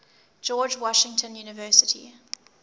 george washington university